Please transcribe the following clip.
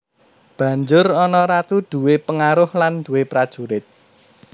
Banjur ana Ratu duwé pengaruh lan duwé prajurit